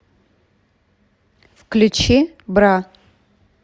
включи бра